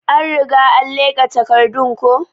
An Riga an leka takardun ko.